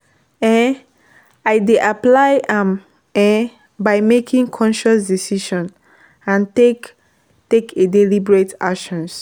um I dey apply am um by making concious decisions and take take a deliberate actions.